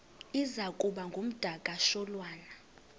iza kuba ngumdakasholwana